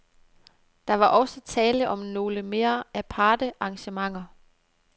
Der var også tale om nogle mere aparte arrangementer.